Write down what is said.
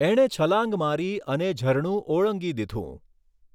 એણે છલાંગ મારી અને ઝરણું ઓળંગી દીઘું.